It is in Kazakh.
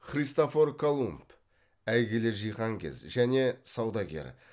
христофор колумб әйгілі жиһанкез және саудагер